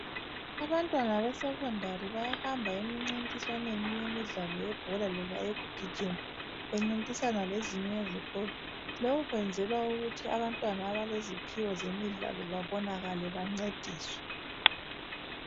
Abantwana be secondary bayahamba emincintiswaneni yemidlalo yebhola loba eyokugijima, bencintisana lezinye izikolo, lokhu kwenzelwa ukuthi abantwana abaleziphiwo zemidlalo babonakale njalo bancediswe.